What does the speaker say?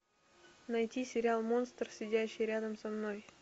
найти сериал монстр сидящий рядом со мной